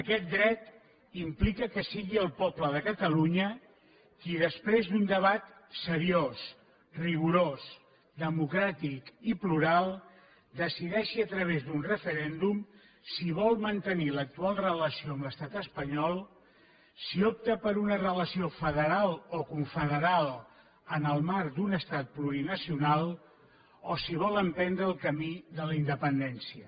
aquest dret implica que sigui el poble de catalunya qui després d’un debat seriós rigorós democràtic i plural decideixi a través d’un referèndum si vol mantenir l’actual relació amb l’estat espanyol si opta per una relació federal o confederal en el marc d’un estat plurinacional o si vol emprendre el camí de la independència